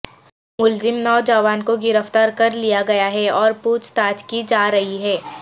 ملزم نوجوان کو گرفتار کر لیا گیا ہے اور پوچھ تاچھ کی جا رہی ہے